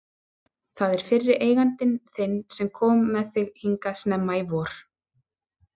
Það er fyrri eigandi þinn sem kom með þig hingað snemma í vor.